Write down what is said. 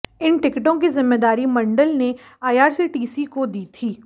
इन टिकटों की जिम्मेदारी मंडल ने आईआरसीटीसी को दी थी